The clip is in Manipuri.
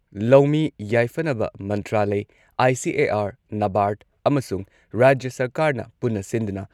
ꯂꯧꯃꯤ ꯌꯥꯏꯐꯅꯕ ꯃꯟꯇ꯭ꯔꯥꯂꯢ , ꯑꯥꯏ.ꯁꯤ.ꯑꯦ.ꯑꯥꯔ., ꯅꯕꯥꯔꯗ ꯑꯃꯁꯨꯡ ꯔꯥꯖ꯭ꯌ ꯁꯔꯀꯥꯔꯅ ꯄꯨꯟꯅ ꯁꯤꯟꯗꯨꯅ